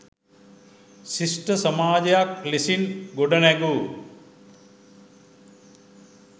ශිෂ්ට සමාජයක් ලෙසින් ගොඩනැගූ